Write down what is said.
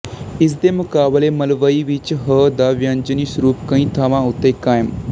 ਇਸ ਦੇ ਮੁਕਾਬਲੇ ਮਲਵਈ ਵਿੱਚ ਹ ਦਾ ਵਿਅੰਜਨੀ ਸਰੂਪ ਕਈ ਥਾਵਾਂ ਉੱਤੇ ਕਾਇਮ